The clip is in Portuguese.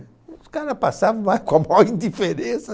E os cara passavam mas com a maior indiferença.